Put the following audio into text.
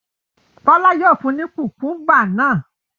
Bọ́lá yóò fun ní kùkúḿbà náà.